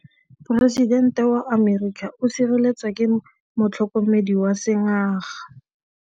Poresitêntê wa Amerika o sireletswa ke motlhokomedi wa sengaga.